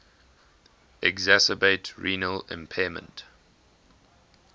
exacerbate renal impairment